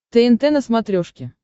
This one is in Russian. тнт на смотрешке